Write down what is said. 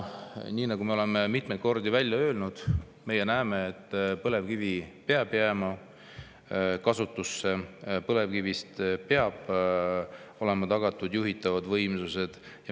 Nii, nagu me oleme mitmeid kordi välja öelnud, meie näeme, et põlevkivi peab jääma kasutusse, põlevkivi abil peavad olema tagatud juhitavad võimsused.